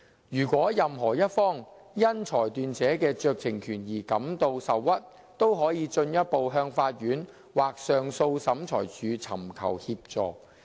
如果任何一方因裁斷者的酌情權而感到受屈，都可以進一步向法院或上訴審裁處尋求協助。